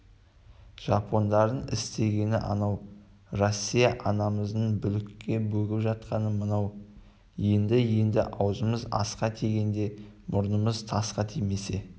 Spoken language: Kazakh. жапондардың істегені анау россия анамыз бүлікке бөгіп жатқаны мынау енді-енді аузымыз асқа тигенде мұрнымыз тасқа тимесе